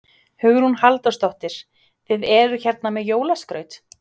Hugrún Halldórsdóttir: Þið eruð hérna með jólaskraut?